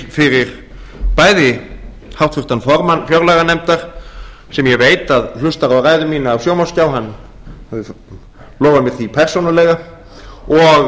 bæði fyrir háttvirtan formann fjárlaganefndar sem ég veit að hlustar á ræðu mína af sjónvarpsskjá hann lofaði mér því persónulega og